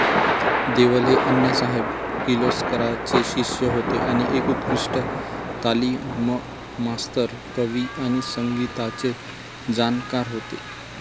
देवल हे अण्णासाहेब किर्लोस्कराचे शिष्य होते आणि एक उत्कृष्ट तालीममास्तर, कवी आणि संगीताचे जाणकार होते.